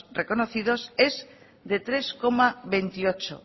reconocidos es de tres coma veintiocho